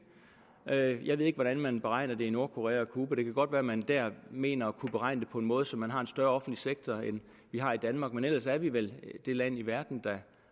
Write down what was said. jeg ved ikke hvordan man beregner det i nordkorea og cuba det kan godt være at man der mener at kunne beregne det på en måde så man har en større offentlig sektor end vi har i danmark men ellers er vi vel det land i verden der